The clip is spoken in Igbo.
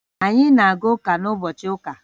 Anyị na-aga ụka n'ụbochị ụka